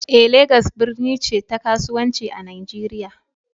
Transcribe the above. eh, Legas birni ce ta kasuwanci a Najeriya